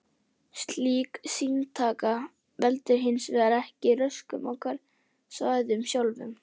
Slík sýnataka veldur hins vegar ekki röskun á hverasvæðunum sjálfum.